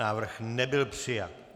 Návrh nebyl přijat.